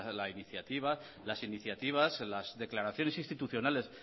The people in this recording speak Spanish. las iniciativas a las declaraciones institucionales